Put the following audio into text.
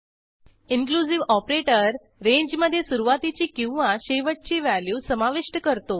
inclusive operator रेंजमधे सुरूवातीची किंवा शेवटची व्हॅल्यू समाविष्ट करतो